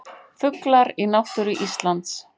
Fuglar í náttúru Íslands.